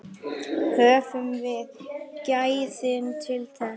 Höfum við gæðin til þess?